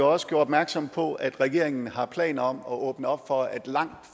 også gjorde opmærksom på at regeringen har planer om at åbne op for at langt